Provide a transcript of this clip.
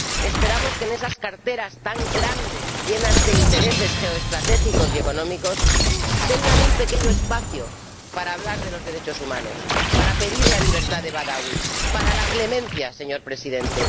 Esperamos que en esas carteras tan grandes, llenas de intereses geoestratégicos y económicos, tengan un pequeño espacio para hablar de los derechos humanos, para pedir la libertad de Badawi, para la clemencia, señor Presidente.